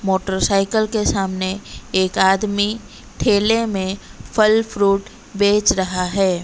Motor cycle के सामने एक आदमी ठेले में फल फ्रूट बेच रहा है।